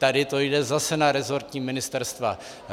Tady to jde zase na resortní ministerstva.